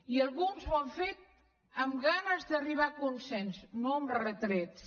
i alguns ho han fet amb ganes d’arribar a consens no amb retrets